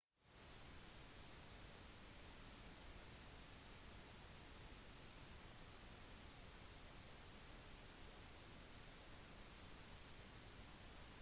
virtuelle lagmedlemmer fungerer ofte som punkt for kontakt for sin umiddelbare fysiske gruppe